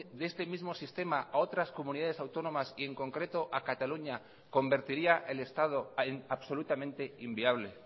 de este mismo sistema a otras comunidades autónomas y en concreto a cataluña convertiría el estado absolutamente inviable